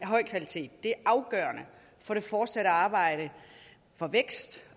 høj kvalitet det er afgørende for det fortsatte arbejde for vækst